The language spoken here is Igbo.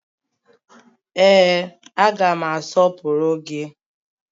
Ee, aga m asọpụrụ gị